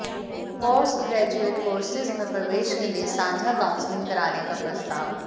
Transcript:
post graduate courses में प्रवेश के लिए साझा काउंसलिंग कराने का प्रस्ताव